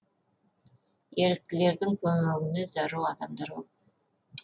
еріктілердің көмегіне зәру адамдар көп